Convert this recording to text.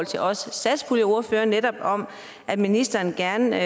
til os satspuljeordførere netop om at ministeren gerne